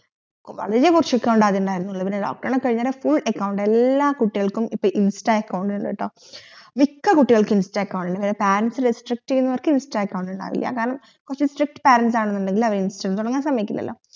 വളരെ കൊർച് account നിലവിൽ ഇണ്ടായിരനത് ഇപ്പൊ എല്ലാ കിട്ടികൾക്കും ഇൻസ്റ്റ account ഇണ്ട് ട്ടോ മിക്ക കുട്ടികൾക്കും ഇൻസ്റ്റ account ഇണ്ട് parents restrict യനവർക് ഇൻസ്റ്റ account ഇണ്ടാവില്യ കാരണം കൊർച് strict parents എങ്ങെനെങ്കിൽ അവർ ഇൻസ്റ്റ account തുടങ്ങാൻ സമ്മയ്ക്കില്ലലോ